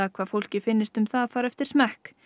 hvað fólki finnist um það fari eftir smekk